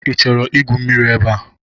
Ị chọrọ igwu mmiri ebe a?